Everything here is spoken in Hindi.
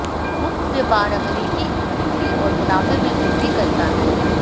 मुक्त व्यापार अमेरिकी बिक्री और मुनाफे में वृद्धि करता है